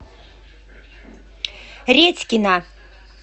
редькина